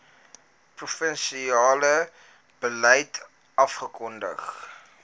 provinsiale beleid afgekondig